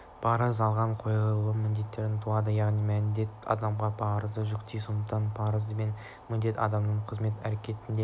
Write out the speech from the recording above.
парыз алға қойылған міндеттен туады яғни міндет адамға парызды жүктейді сондықтан да парыз бен міндет адамның қызмет әрекетінде